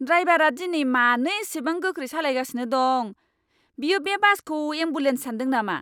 ड्राइबारा दिनै मानो इसिबां गोख्रै सालायगासिनो दं? बियो बे बासखौ एम्बुलेन्स सानदों नामा!